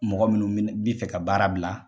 Mɔgɔ minnu mɛna bi fɛ ka baara bila